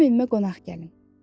Mənim evimə qonaq gəlin.